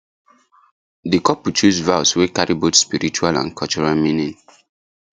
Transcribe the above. the couple choose vows wey carry both spiritual and cultural meaning